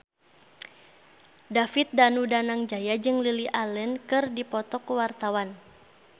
David Danu Danangjaya jeung Lily Allen keur dipoto ku wartawan